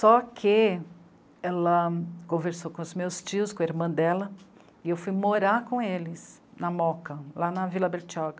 Só que ela conversou com os meus tios, com a irmã dela, e eu fui morar com eles, na MOCA, lá na Vila Bertioga.